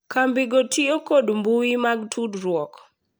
Kambigo tiyo kod mbui mag tudruok .